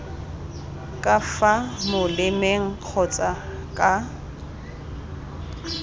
ka fa molemeng kgotsa ka